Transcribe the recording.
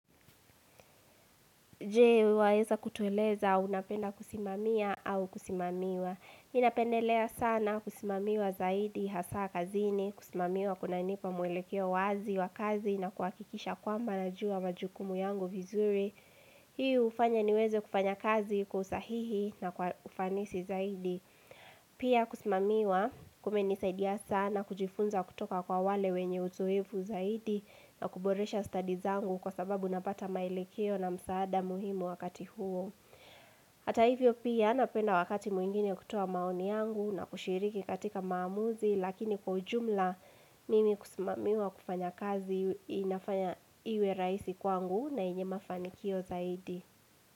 Je, waeza kutueleza unapenda kusimamia au kusimamiwa. Ninapendelea sana kusimamiwa zaidi hasa kazini, kusimamiwa kuna nipa mwelekeo wazi wa kazi na kuakikisha kwamba na jua majukumu yangu vizuri. Hii hufanya niweze kufanya kazi kwa usahihi na kwa ufanisi zaidi. Pia kusimamiwa kumenisaidia sana kujifunza kutoka kwa wale wenye uzoefu zaidi na kuboresha stadi zangu kwa sababu napata maelekeo na msaada muhimu wakati huo. Hata hivyo pia napenda wakati mwingine kutoa maoni yangu na kushiriki katika maamuzi lakini kwa ujumla mimi kusimamiwa kufanya kazi inafanya iwe raisi kwangu na inye mafanikio zaidi.